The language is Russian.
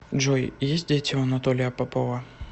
джой есть дети у анатолия попова